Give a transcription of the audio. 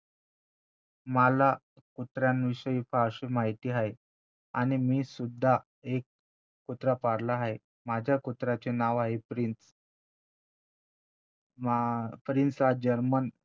मला कुत्र्यांविषयी फारशी माहिती आहे आणि मीसुद्धा एक कुत्रा पाळला आहे माझ्या कुत्र्याचे नाव आहे प्रिन्स माप्रिन्स हा जर्मन